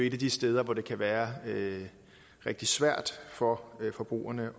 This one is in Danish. et af de steder hvor det kan være rigtig svært for forbrugerne